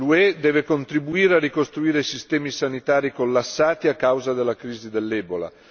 L'UE deve contribuire a ricostruire i sistemi sanitari collassati a causa della crisi dell'ebola.